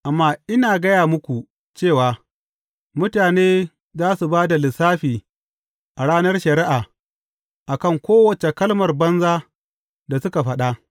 Amma ina gaya muku cewa mutane za su ba da lissafi a ranar shari’a a kan kowace kalmar banza da suka faɗa.